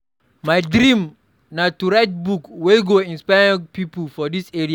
My dream na to write book wey go inspire young pipo for dis area.